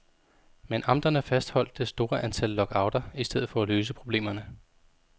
Men amterne fastholdt det store antal lockouter i stedet for at løse problemerne.